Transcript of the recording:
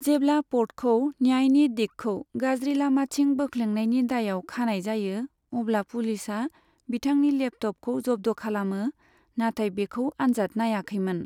जेब्ला पर्टखौ न्यायनि दिगखौ गाज्रि लामाथिं बोख्लेंनायनि दायआव खानाय जायो अब्ला पुलिसआ बिथांनि लेपट'पखौ जब्द' खालामो नाथाय बेखौ आनजाद नाइयाखैमोन।